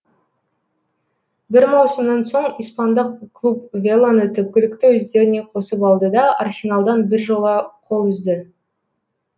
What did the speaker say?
бір маусымнан соң испандық клуб веланы түпкілікті өздеріне қосып алды да арсеналдан біржола қол үзді